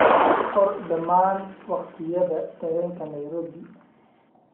qor dhammaan waqtiyada tareenka Nairobi